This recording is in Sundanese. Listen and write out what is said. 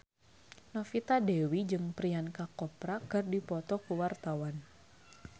Novita Dewi jeung Priyanka Chopra keur dipoto ku wartawan